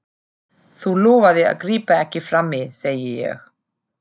Þú lofaðir að grípa ekki frammí, segi ég.